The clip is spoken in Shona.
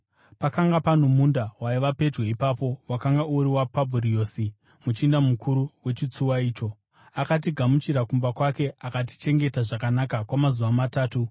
Pakanga pano munda waiva pedyo ipapo wakanga uri waPabhuriosi, muchinda mukuru wechitsuwa icho. Akatigamuchira kumba kwake akatichengeta zvakanaka kwamazuva matatu.